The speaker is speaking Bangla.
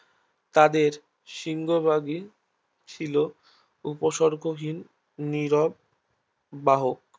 তাদের সিংহ ভাগই ছিল উপসর্গহীন নিরব বাহক